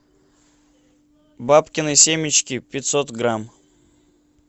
бабкины семечки пятьсот грамм